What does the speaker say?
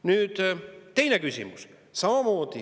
Nüüd, teine küsimus.